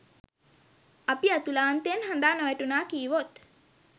අපි ඇතුලාන්තයෙන් හඬා නොවැටුනා කීවොත්